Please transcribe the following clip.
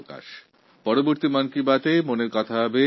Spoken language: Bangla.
আগামি মন কি বাত হবে